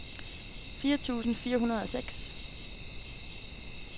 fire tusind fire hundrede og seks